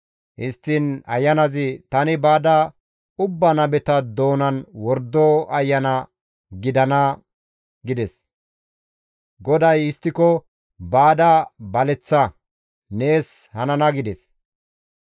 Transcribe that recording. «Histtiin ayanazi, ‹Tani baada ubbaa nabeta doonan wordo ayana gidana› gides. GODAY, ‹Histtiko baada baleththa; nees hanana› gides.